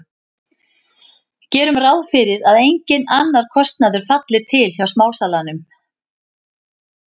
Gerum ráð fyrir að enginn annar kostnaður falli til hjá smásalanum.